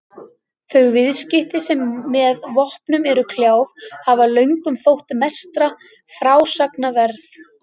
Þau viðskipti sem með vopnum eru kljáð hafa löngum þótt mestra frásagna verð.